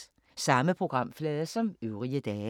Samme programflade som øvrige dage